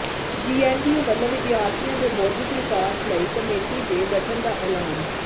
GNDU ਵੱਲੋਂ ਵਿਦਿਆਰਥੀਆਂ ਦੇ ਬੌਧਿਕ ਵਿਕਾਸ ਲਈ ਕਮੇਟੀ ਦੇ ਗਠਨ ਦਾ ਐਲਾਨ